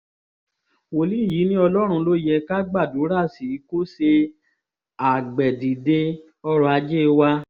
wòlíì yìí ni ọlọ́run ló yẹ ká gbàdúrà sí kó ṣe agbẹ̀dìde ọrọ̀ ajé wa